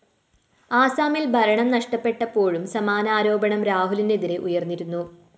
ആസാമില്‍ ഭരണം നഷ്ടപ്പെട്ടപ്പോഴും സമാന ആരോപണം രാഹുലിനെതിരെ ഉയര്‍ന്നിരുന്നു